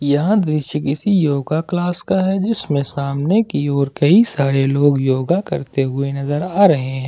यह दृश्य किसी योगा क्लास का है जिसमें सामने की ओर कई सारे लोग योग करते हुए नजर आ रहे हैं।